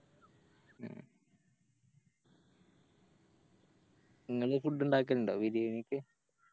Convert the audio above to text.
ഇങ്ങള് Food ഇണ്ടാക്കലിണ്ടോ ബിരിയാണിക്ക്